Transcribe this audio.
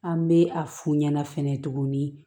An bɛ a f'u ɲɛna fɛnɛ tuguni